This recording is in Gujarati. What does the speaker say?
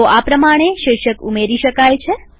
તો આ પ્રમાણે શીર્ષક ઉમેરી શકાય છે